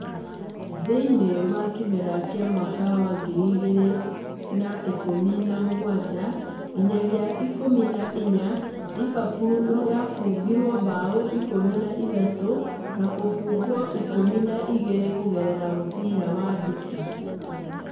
Thĩinĩ wa kĩmera kĩa Mwaka wa ngiri igĩrĩ na ikũmi na mũgwanja nginyagia ikũmi na inyanya, Liverpool yabungire mbaũ ikũmi na ithatũ na kũbungwo ikũmi na igĩrĩ kũgerera mũbira wa nduki